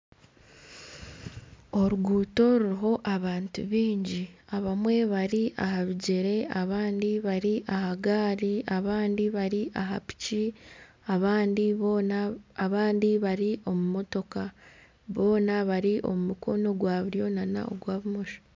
Oruguuto ruriho abantu baingi abamwe bari aha bigyere abandi bari aha gaari, abandi bari aha piki abandi bari omu motoka boona bari omu mukono ogwa buryo nana ogwa bumosho